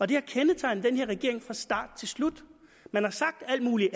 det har kendetegnet den her regering fra start til slut man har sagt alt muligt